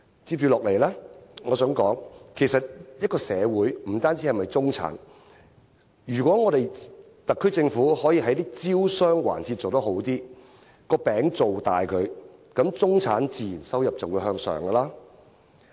接下來，我想說的是，其實社會不只由中產組成，如果特區政府能在招商環節做得更好，把餅造大，中產的收入自然會增加。